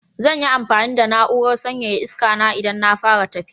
Zan yi amfani da na'urar sanyaya iskana idan na fara tafiya.